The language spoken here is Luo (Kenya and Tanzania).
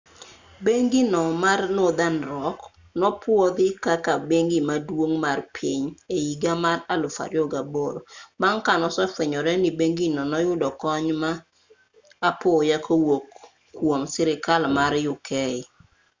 bengi no mar northern rock nopwodhi kaka bengi maduong' mar piny e higa mar 2008 bang' ka nosefwenyore ni bengino noyudo kony ma apoya kowuok kwom sirkal mar uk